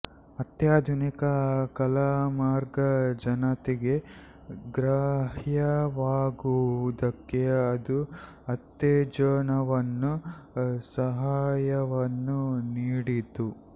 ಅತ್ಯಾಧುನಿಕ ಕಲಾಮಾರ್ಗ ಜನತೆಗೆ ಗ್ರಾಹ್ಯವಾಗುವುದಕ್ಕೆ ಅದು ಉತ್ತೇಜನವನ್ನೂ ಸಹಾಯವನ್ನೂ ನೀಡಿತು